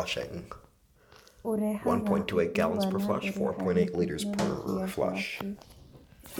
Ũrehaga ũthii wa na mbere harĩ tekinoronjĩ ya k.